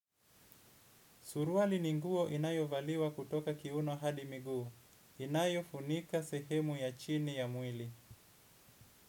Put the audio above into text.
Suruali ni nguo inayo valiwa kutoka kiuno hadi miguu. Inayo funika sehemu ya chini ya mwili.